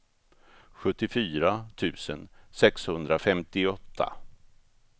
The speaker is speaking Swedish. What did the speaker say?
sjuttiofyra tusen sexhundrafemtioåtta